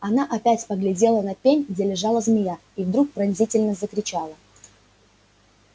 она опять поглядела на пень где лежала змея и вдруг пронзительно закричала